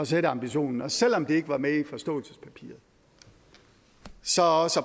sætte ambitionen og selv om de ikke var med i forståelsespapiret så også